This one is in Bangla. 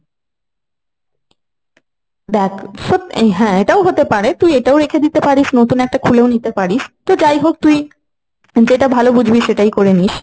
দেখ সত্যি আহ হ্যাঁ এটাও হতে পারে, তুই এটাও রেখে দিতে পারিস, নতুন একটা খুলেও নিতে পারিস, তো যাই হোক তুই যেটা ভালো বুঝবি সেটাই করে নিস।